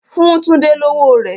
Fun Tunde lowo rẹ!